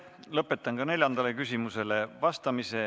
Lõpetan ka neljandale küsimusele vastamise.